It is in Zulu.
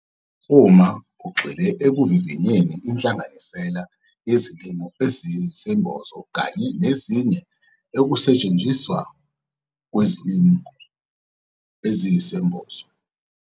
UMA UGXILE EKUVIVINYENI INHLANGANISELA YEZILIMO EZIYISEMBOZO KANYE NEZINYE EKUSETSHENZISWA KWIZILIMO EZIYISEMBOZO.